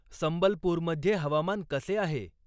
संबलपुरमध्ये हवामान कसे आहे?